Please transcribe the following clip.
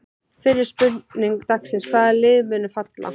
Fyrri spurning dagsins: Hvaða lið munu falla?